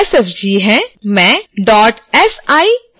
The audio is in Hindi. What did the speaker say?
मैं dot sifz फ़ॉर्मैट चुनूँगी